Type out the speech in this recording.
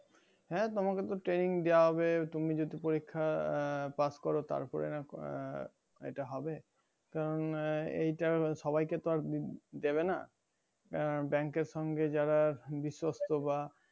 হ্যাঁ তোমাকে তো training দেওয়া হবে তুমি যদি পরীক্ষায় pass করো তারপরে আহ এটা হবে তো আমি এইটা সবাইকে তো আর দেবে না আহ bank এর সঙ্গে যারা বিশস্ত বা